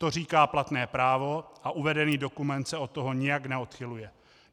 To říká platné právo a uvedený dokument se od toho nijak neodchyluje.